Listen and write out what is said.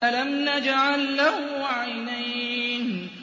أَلَمْ نَجْعَل لَّهُ عَيْنَيْنِ